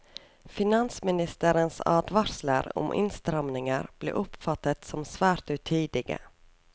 Finansministerens advarsler om innstramninger ble oppfattet som svært utidige.